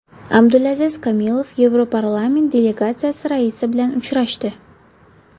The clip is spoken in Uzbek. Abdulaziz Kamilov Yevroparlament delegatsiyasi raisi bilan uchrashdi.